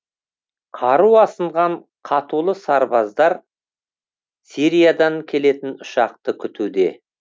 қару асынған қатулы сарбаздар сириядан келетін ұшақты күтуде